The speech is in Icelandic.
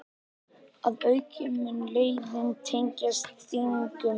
Að auki mun leiðin tengjast Þingum